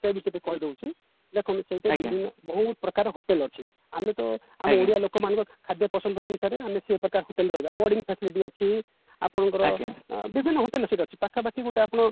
ସେ ବିଷୟରେ ଟିକେ କହିଦଉଛି ଦେଖନ୍ତୁ ସେଇଟା ବହୁତ ପ୍ରକାର hotel ଅଛି ଆମେ ତ ଆମ area ଲୋକମାନଙ୍କ ଖାଦ୍ୟ ପସନ୍ଦ ଅନୁସାରେ ଆମେ ସେ ପ୍ରକାର hotel ରହିବା boarding section ବି ଅଛି ଆପଣଙ୍କର ବିଭିନ୍ନ hotel ସେଠି ଅଛି ପାଖାପାଖି ଗୋଟେ ଆପଣ